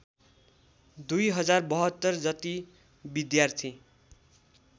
२०७२ जति विद्यार्थी